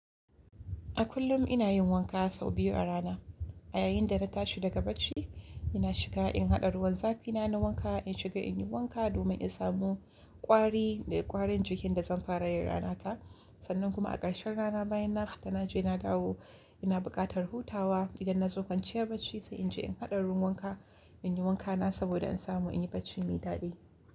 A kullum ina yin wanka sau biyu a rana. A yayin da na tashi daga bacci ina shiga in haɗa ruwan zafi na na wanka, in shiga in yi wanka domin in samu ƙwari da ƙwarin jikin da zan fara yin ranata. Sannan kuma a ƙarshen rana bayan na fita na je na dawo ina buƙatar hutawa idan na zo kwanciyar bacci sai in je in haɗa ruwan wanka, in yi wankana saboda in samu in yi bacci mai daɗi.